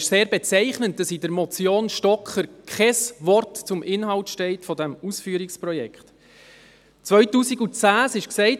Es ist sehr bezeichnend, dass in der Motion Stocker kein Wort zum Inhalt des Ausführungsprojekts steht.